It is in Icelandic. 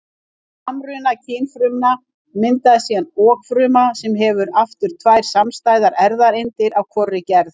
Við samruna kynfrumna myndast síðan okfruma sem hefur aftur tvær samstæðar erfðaeindir af hvorri gerð.